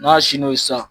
N'a sir'o ye sa